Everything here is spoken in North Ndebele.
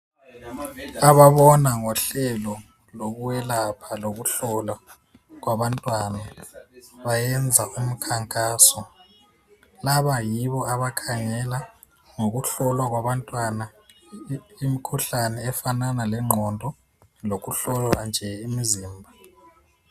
Ababona ngohlelo lokwelapha lokuhlola abantwana, bayenza umkhankaso. Laba yibo abakhangela ngokuhlolwa kwabantwana imkhuhlane efanana lengqondo. Lokuhlolwa nje imizimba.